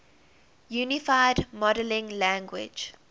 unified modeling language